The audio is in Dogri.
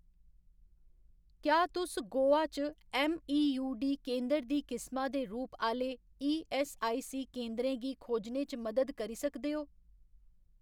क्या तुस गोवा च ऐम्मईयूडी केंदर दी किसमा दे रूप आह्‌ले ईऐस्सआईसी केंदरें गी खोजने च मदद करी सकदे ओ